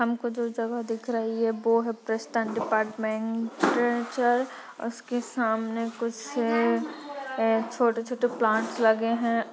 हमको जो जगह दिख रही है वो है प्रेस्टंट डिपार्टमेंट उसके सामने कुछ अ अ छोटे-छोटे प्लांट लगे है।